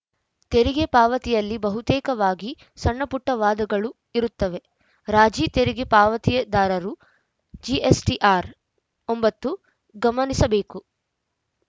ತೆರಿಗೆ ಪಾವತಿಯಲ್ಲಿ ಬಹುತೇಕವಾಗಿ ಸಣ್ಣಪುಟ್ಟವಾದಗಳು ಇರುತ್ತವೆ ರಾಜಿ ತೆರಿಗೆ ಪಾವತಿದಾರರು ಜಿಎಸ್‌ಟಿಆರ್‌ ಒಂಬತ್ತು ಗಮನಿಸಬೇಕು